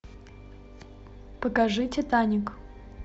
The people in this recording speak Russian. покажи титаник